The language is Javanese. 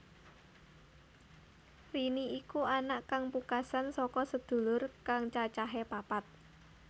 Rini iku anak kang pungkasan saka sedulur kang cacahé papat